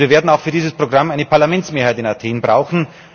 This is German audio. Wir werden auch für dieses Programm eine Parlamentsmehrheit in Athen brauchen.